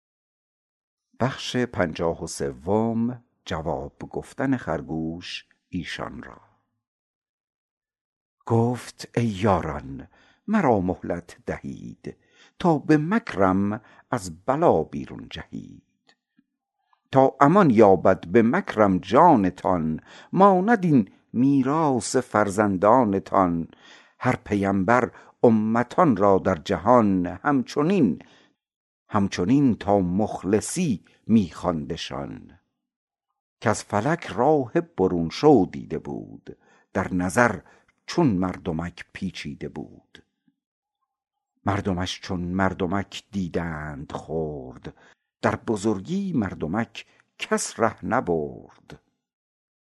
گفت ای یاران مرا مهلت دهید تا به مکرم از بلا بیرون جهید تا امان یابد به مکرم جانتان ماند این میراث فرزندانتان هر پیمبر امتان را در جهان همچنین تا مخلصی می خواندشان کز فلک راه برون شو دیده بود در نظر چون مردمک پیچیده بود مردمش چون مردمک دیدند خرد در بزرگی مردمک کس ره نبرد